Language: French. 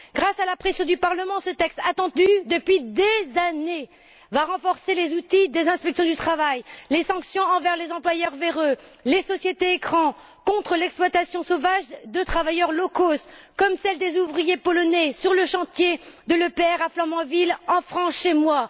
Grâce à la pression du Parlement, ce texte, attendu depuis des années, va renforcer les outils des inspections du travail, les sanctions envers les employeurs véreux et les sociétés écrans et contre l'exploitation sauvage de travailleurs low cost comme celle des ouvriers polonais sur le chantier de l'EPR à Flamanville en France, chez moi.